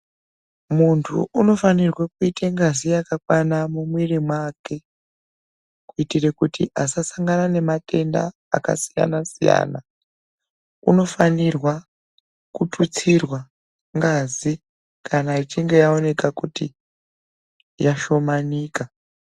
Muntu unofanirwe kuite ngazi yakakwana mumwiri make kuitira kuti asasangana namatenda akasiyana siyana. Unofanirwa kututsirwa ngazi kana achinge yaoneka kuti yashomanika.